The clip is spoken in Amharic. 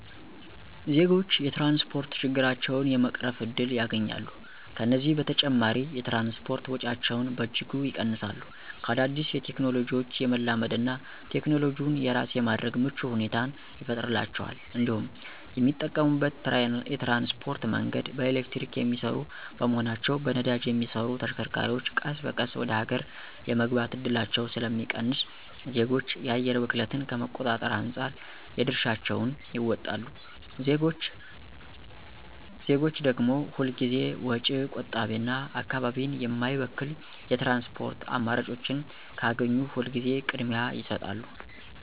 ዜጎች የትራንስፖርት ችግራቸውን የመቅረፍ እድል ያገኛሉ፤ ከዚህም በተጨማሪ የትራንስፖርት ወጪያቸውን በእጅጉ ይቀንሳሉ፤ ከአዳዲስ ቴክኖሎጂዎች የመላመድ እና ቴክኖሎጂውን የራስ የማድረግ ምቹ ሁኔታን ይፈጥርላቸዋል እንዲሁም የሚጠቀሙት የትራንስፖርት መንገድ በኤሌክትሪክ የሚሰሩ በመሆናቸው በነዳጅ የሚሰሩ ተሽከርካሪዎች ቀስ በቀስ ወደ ሀገር የመግባት እድላቸው ስለሚቀንስ ዜጎች የአየር ብክለትን ከመቆጣጠር አንፃር የድርሻቸውን ይወጣሉ። ዜጎች ደግም ሁል ጊዜ ወጪ ቆጣቢና አካባቢን የማይበክል የትራንስፖርት አማራጮችን ካገኙ ሁል ጊዜ ቅድሚያ ይሰጣሉ።